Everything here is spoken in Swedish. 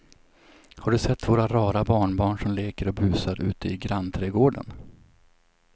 Har du sett våra rara barnbarn som leker och busar ute i grannträdgården!